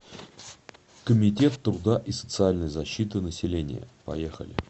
комитет труда и социальной защиты населения поехали